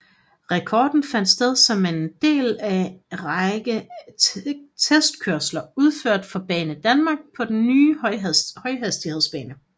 Rekorden fandt sted som del af en række testkørsler udført for Banedanmark på den nye højhastighedsbane